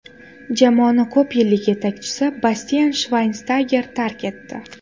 Jamoani ko‘pyillik yetakchisi Bastian Shvaynshtayger tark etdi.